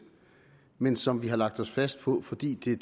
men som vi har lagt os fast på fordi det